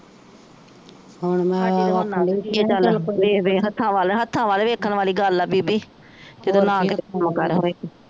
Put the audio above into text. ਹੱਥਾਂ ਵੱਲ ਹੱਥਾਂ ਵੱਲ ਵੇਖਣ ਵਾਲੀ ਗੱਲ ਆ ਬੀਬੀ